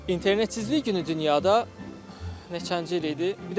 İnternetsizlik günü dünyada neçənci il idi?